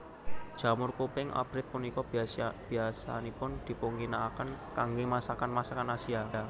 Jamur kuping abrit punika biyasanipun dipunginakaken kanggé masakan masakan Asia